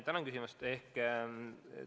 Tänan küsimuse eest!